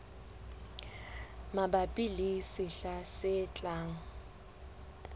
mabapi le sehla se tlang